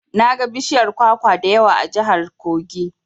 Naga bishiyar kwakwa da yawa a jihar Kogi.